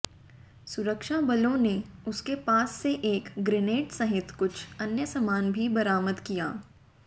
सुरक्षाबलों ने उसके पास से एक ग्रेनेड सहित कुछ अन्य सामान भी बरामद किया